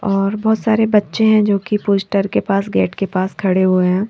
और बहोत सारे बच्चे है जो की पोस्टर के पास गेट के पास खड़े हुए है।